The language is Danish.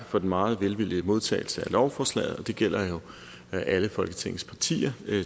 for den meget velvillige modtagelse af lovforslaget og det gælder jo alle folketingets partier